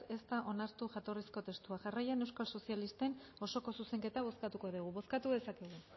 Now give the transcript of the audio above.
ez da onartu jatorrizko testua jarraian euskal sozialisten osoko zuzenketa bozkatuko degu bozkatu dezakegu